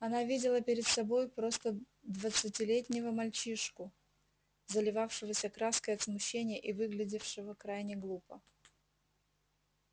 она видела перед собой просто двадцатилетнего мальчишку заливавшегося краской от смущения и выглядевшего крайне глупо